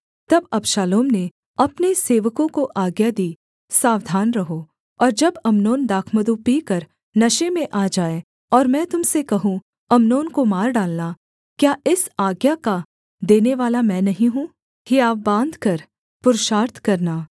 तब अबशालोम ने अपने सेवकों को आज्ञा दी सावधान रहो और जब अम्नोन दाखमधु पीकर नशे में आ जाए और मैं तुम से कहूँ अम्नोन को मार डालना क्या इस आज्ञा का देनेवाला मैं नहीं हूँ हियाव बाँधकर पुरुषार्थ करना